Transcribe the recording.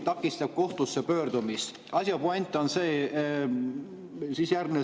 Asja point on see, et kõrge riigilõiv takistab kohtusse pöördumist.